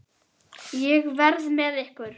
Ég verð með ykkur.